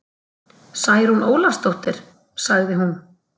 Særún Ólafsdóttir, sagði hún.